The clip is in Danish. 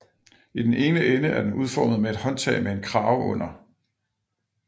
I den ene ende er den udformet med et håndtag med en krave under